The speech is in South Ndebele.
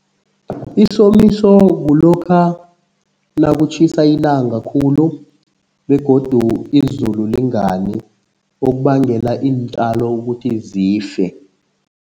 Isomiso kulokha nakutjhisa ilanga khulu begodu izulu lingani okubangela iintjalo ukuthi zife.